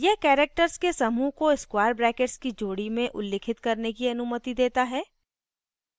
यह characters के समूह को square brackets की जोड़ी में उल्लिखित करने की अनुमति देता है